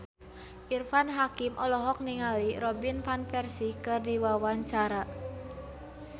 Irfan Hakim olohok ningali Robin Van Persie keur diwawancara